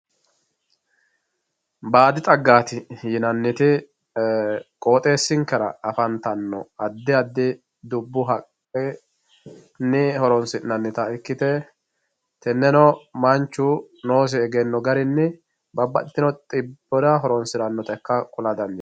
Baadi xagati yinaniti qooxxesinkera afantano adi adi dubbu haqqenni horonsinanitta ikkite teneno manchu noosi eggenno garinni babaxino xibbira horonsiranotta kula dandinanni